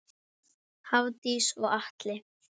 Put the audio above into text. Hafdís og Atli.